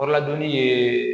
ye